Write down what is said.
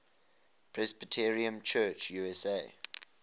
presbyterian church usa